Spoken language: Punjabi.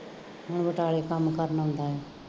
ਹੁਣ ਬਟਾਲੇ ਕੰਮ ਕਰਨ ਆਉਂਦਾ ਹੈ